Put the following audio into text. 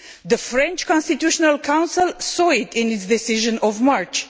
The French Constitutional Council saw it in its decision of March.